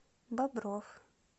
бобров